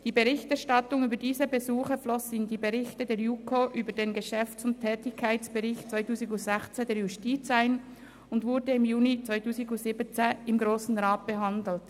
Die Berichterstattung über diese Besuche floss in die Berichte der JuKo über den Geschäfts- und Tätigkeitsbericht 2016 der Justiz ein und wurde im Juni 2017 im Grossen Rat behandelt.